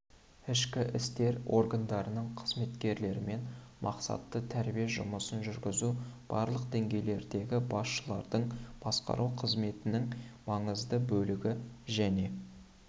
ішкі істер органдарының қызметкерлерімен мақсатты тәрбие жұмысын жүргізу барлық деңгейлердегі басшылардың басқару қызметтерінің маңызды бөлігі және